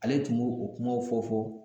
Ale tun b'o o kumaw fɔ fɔ